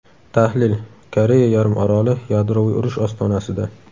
Tahlil: Koreya yarim oroli yadroviy urush ostonasida.